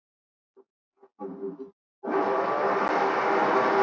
Í friðhelginni felst því sjálfræði og hvort tveggja skapar virðingu.